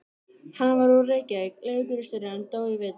Hann var úr Reykjavík, leigubílstjóri, en dó í vetur.